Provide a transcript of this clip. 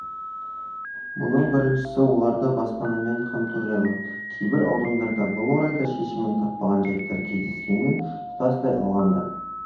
мұның біріншісі оларды баспанамен қамту жайы кейбір аудандарда бұл орайда шешімін таппаған жайттар кездескенімен тұтастай алғанда